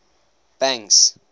banks